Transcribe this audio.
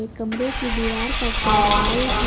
ये कमरे की दीवार का कलर व्हाइट है।